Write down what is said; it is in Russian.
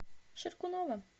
шеркунова